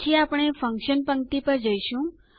પછી આપણે ફંકશન પંક્તિ પર જઈશું